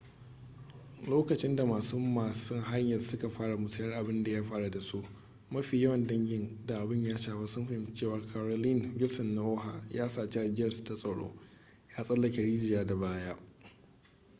lokacin da masu masun haya suka fara musayar abin da ya faru da su mafi yawan dangin da abin ya shafa sun fahimci cewa carolyn wilson na oha ya saci ajiyarsu ta tsaro ya tsallake rijiya da baya